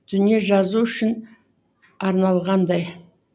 дүние жазу үшін арналғандай